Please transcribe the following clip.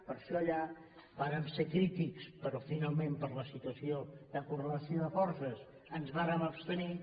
per això allà vàrem ser crítics però finalment per la situació de correlació de forces ens vàrem abstenir